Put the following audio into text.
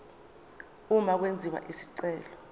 uma kwenziwa isicelo